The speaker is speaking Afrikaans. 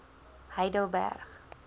heidelberg